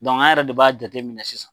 an yɛrɛ de b'a jate minɛ sisan.